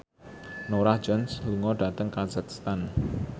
Norah Jones lunga dhateng kazakhstan